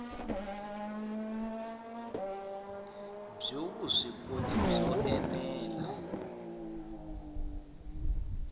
byo vuswikoti byo ene la